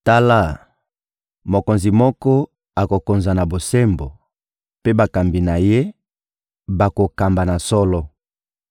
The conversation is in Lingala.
Tala, mokonzi moko akokonza na bosembo, mpe bakambi na ye bakokamba na solo.